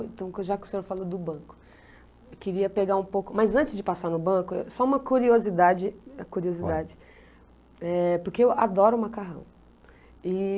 Então, já que o senhor falou do banco, eu queria pegar um pouco, mas antes de passar no banco, só uma curiosidade, curiosidade, eh, porque eu adoro macarrão. E...